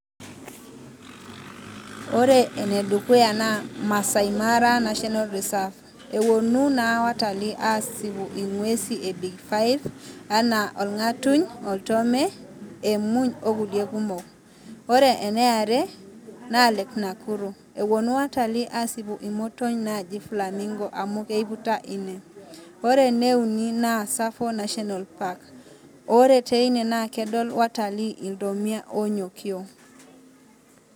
Ore ene dukuya naa maasai mara national reserve. Ewuonu naa watalii aasipu inguesi e big five anaa olg'atuny, oltome , emuny o kulie kumok ore ene are naa lake Nakuru. Ewuonu watalii aasipu imotony naaji flamingo amu keiputa ine ore ene uni naa Tsavo national park, ore teina na kedol watalii iltomia oonyokio.